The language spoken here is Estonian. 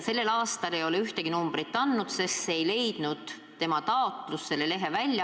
Tänavu ei ole ühtegi numbrit ilmunud, sest taotlus selle lehe väljaandmiseks ei leidnud toetust.